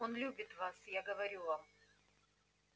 он любит вас я говорю вам